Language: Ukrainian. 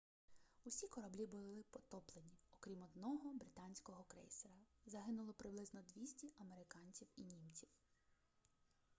усі кораблі були потоплені окрім одного британського крейсера загинуло приблизно 200 американців і німців